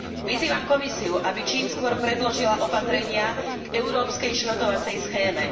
Vyzývam Komisiu, aby čím skôr predložila opatrenia k európskej šrotovacej schéme.